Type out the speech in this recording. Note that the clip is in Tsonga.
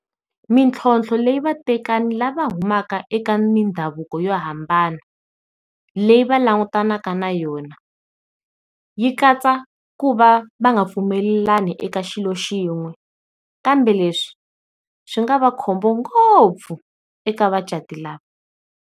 Mintlhlonthlo leyi vatekani lava humaka eka mindhavuko yo hambana leyi va langutanaka na yona, yi katsa ku va va nga pfumelelani eka xilo yin'we kambe leswi swi nga va khombo ngopfu eka vacati lava.